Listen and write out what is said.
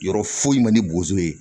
Yɔrɔ foyi ma ni bozo ye